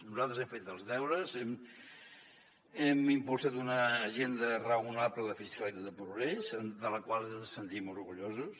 nosaltres hem fet els deures hem impulsat una agenda raonable de fiscalitat de progrés de la qual ens sentim orgullosos